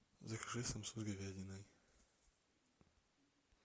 закажи самсу с говядиной